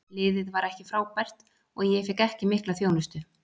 Liðið var ekki frábært og ég fékk ekki mikla þjónustu.